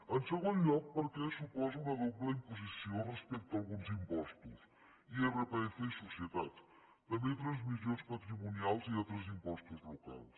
en segon lloc perquè suposa una doble imposició respecte a alguns impostos irpf i societats també transmissions patrimonials i altres impostos locals